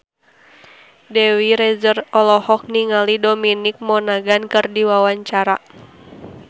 Dewi Rezer olohok ningali Dominic Monaghan keur diwawancara